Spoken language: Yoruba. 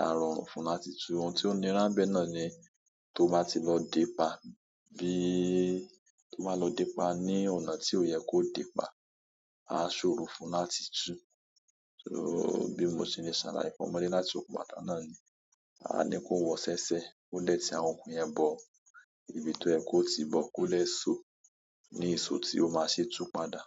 A rọrùn fún un láti tú. Ohun tí ó nira ńbẹ̀ náà ni tó bá ti lọ dèé pa bí, tó bá lọ dé pa ní ọ̀nà tí ò yẹ kó dèé pa, a ṣòro fún un láti tú. So bí mo ṣe le ṣàlàyé fún ọmọdé láti sokùn bàtà náà ni, a ní kó wọ ṣẹ́ṣẹ́, kó dẹ̀ ti àwọn okùn yẹn bọ̀ ibi tí ó yẹ kó tìí bọ̀, kó dẹ̀ soó ní ìso tí ó máa ṣe tú padà.